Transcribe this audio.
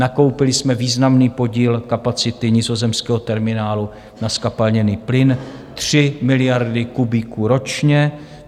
Nakoupili jsme významný podíl kapacity nizozemského terminálu na zkapalněný plyn - 3 miliardy kubíků ročně.